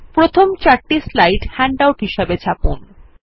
প্রথম চারটি slide handout হিসাবে ছাপুন